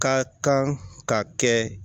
Ka kan ka kɛ